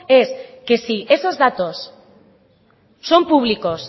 es que si esos datos son públicos